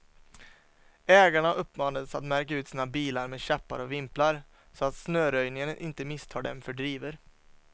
Ägarna uppmanades att märka ut sina bilar med käppar och vimplar, så att snöröjningen inte misstar dem för drivor.